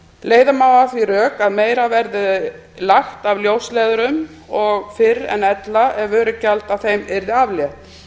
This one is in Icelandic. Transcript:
leiða má að því rök að meira verði lagt af ljósleiðurum og fyrr en ella ef vörugjaldi af þeim yrði aflétt